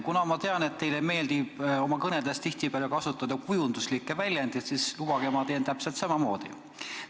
Kuna ma tean, et teile meeldib oma kõnedes tihtipeale kasutada kujundlikke väljendeid, siis lubage, ma teen täpselt samamoodi.